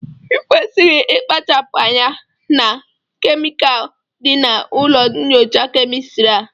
ị kwesịrị ịkpachapụ anya na kemikal dị na ụlọ nyocha kemịstri a!